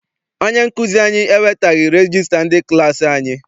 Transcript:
Onye nkụzi anyị ewetaghi regista ndị klassi anyị.